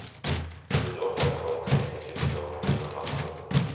sju åtta två tre nittiotvå sjuhundratvå